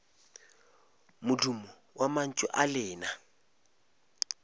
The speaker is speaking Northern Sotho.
modumo wa mantšu a lena